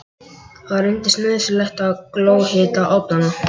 Þá reyndist nauðsynlegt að glóhita ofnana.